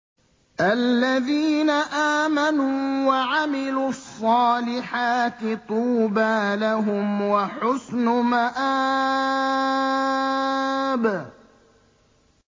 الَّذِينَ آمَنُوا وَعَمِلُوا الصَّالِحَاتِ طُوبَىٰ لَهُمْ وَحُسْنُ مَآبٍ